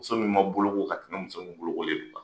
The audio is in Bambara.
Muso min ma boloko ka tɛmɛ muso min bolokolen de kan.